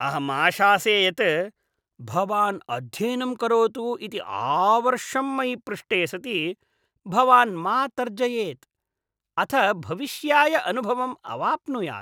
अहम् आशासे यत् भवान् अध्ययनं करोतु इति आवर्षम् मयि पृष्टे सति भवान् मा तर्जयेत्, अथ भविष्याय अनुभवम् अवाप्नुयात्।